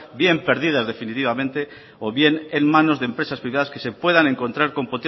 bien perdidas definitivamente o bien en manos de empresas privadas que se puedan encontrar con